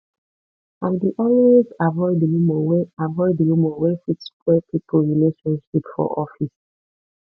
i dey always avoid rumor wey avoid rumor wey fit spoil pipo relationship for office